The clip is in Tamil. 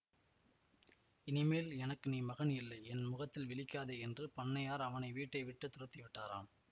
இனிமேல் எனக்கு நீ மகன் இல்லை என் முகத்தில் விழிக்காதே என்று பண்ணையார் அவனை வீட்டை விட்டு துரத்தி விட்டாராம்